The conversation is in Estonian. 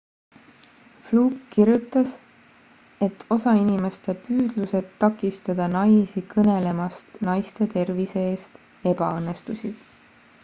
fluke kirjutas et osa inimeste püüdlused takistada naisi kõnelemast naiste tervise eest ebaõnnestusid